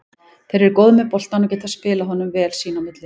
Þeir eru góðir með boltann og geta spilað honum vel sín á milli.